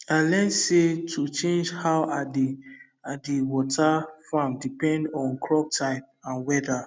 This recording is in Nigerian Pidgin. i learn say to change how i dey i dey water farm depend on crop type and weather